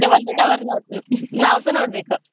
Hour ನಾವ್ಸ ನೋಡ್ಬೇಕ್.